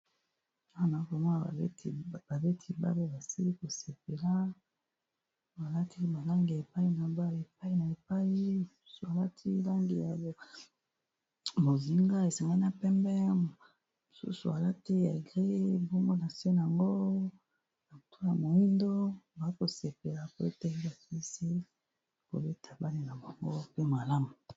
Wana komona babeti babo basili kosepela balati balangi ya epai na aepai a epaialati langi ya mozinga esangali na pembe mosusu alati ya grie bumgo na senango ya kuto ya moindo aza kosepela po ete bafiisi kobeta bale na bango pe malamu